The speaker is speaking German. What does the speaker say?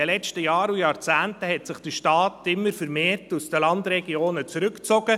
In den letzten Jahren und Jahrzehnten hat sich der Staat zunehmend aus den Landregionen zurückgezogen.